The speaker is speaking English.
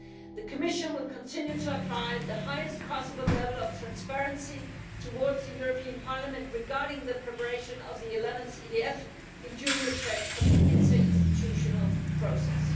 The Commission will continue to apply the highest possible level of transparency towards the European Parliament regarding the preparation of the 11th EDF, with due respect for the inter institutional process.